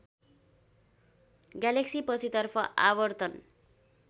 galaxy पछितर्फ आवर्तन